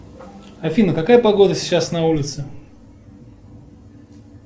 афина какая погода сейчас на улице